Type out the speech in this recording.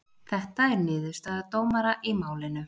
Þetta er niðurstaða dómara í málinu